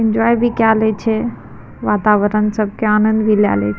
enjoy भी काए ले छै वातावरण सब के आनंद भी लाय ले --